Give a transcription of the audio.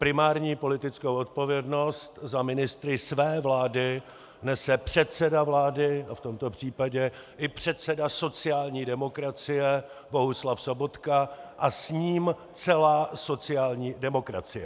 Primární politickou odpovědnost za ministry své vlády nese předseda vlády a v tomto případě i předseda sociální demokracie Bohuslav Sobotka a s ním celá sociální demokracie.